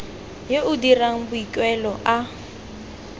yo o dirang boikuelo a